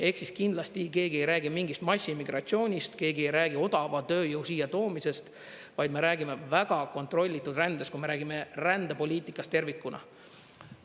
Ehk siis kindlasti keegi ei räägi mingist massiimmigratsioonist, keegi ei räägi odava tööjõu siia toomisest, vaid me räägime väga kontrollitud rändest, kui me räägime rändepoliitikast tervikuna.